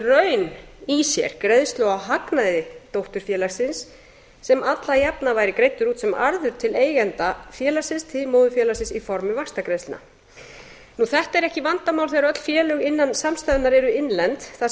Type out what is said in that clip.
raun í sér greiðslu á hagnaði dótturfélagsins sem alla jafna væri greiddur út sem arður til eigenda félagsins til móðurfélagsins í formi vaxtagreiðslna þetta er ekki vandamál þegar öll félög innan samstæðunnar eru innlend þar